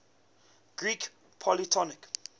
greek polytonic